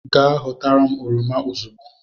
Je họtara m oroma ozugbo